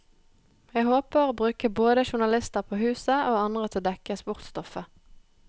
Jeg håper å bruke både journalister på huset, og andre til å dekke sportsstoffet.